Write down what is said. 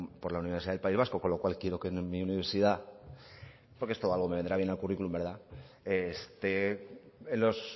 por la universidad del país vasco con lo cual quiero que mi universidad porque esto me vendrá bien al currículum esté en los